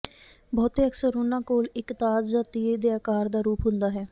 ਬਹੁਤੇ ਅਕਸਰ ਉਨ੍ਹਾਂ ਕੋਲ ਇੱਕ ਤਾਜ ਜਾਂ ਤੀਰ ਦੇ ਆਕਾਰ ਦਾ ਰੂਪ ਹੁੰਦਾ ਹੈ